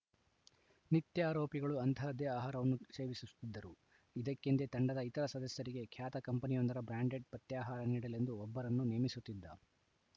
ನಿತ್ಯ ಆರೋಪಿಗಳು ಅಂತಹದ್ದೇ ಆಹಾರವನ್ನು ಸೇವಿಸುತ್ತಿದ್ದರು ಇದಕ್ಕೆಂದೇ ತಂಡದ ಇತರ ಸದಸ್ಯರಿಗೆ ಖ್ಯಾತ ಕಂಪನಿಯೊಂದರ ಬ್ರಾಂಡೆಡ್‌ ಪಥ್ಯಾಹಾರ ನೀಡಲೆಂದು ಒಬ್ಬರನ್ನು ನೇಮಿಸುತ್ತಿದ್ದ